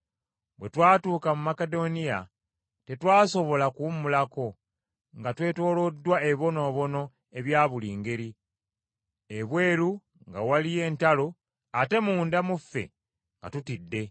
Bwe twatuuka mu Makedoniya tetwasobola kuwummulako, nga twetooloddwa ebibonoobono ebya buli ngeri, ebweru nga waliyo entalo ate munda mu ffe nga tutidde.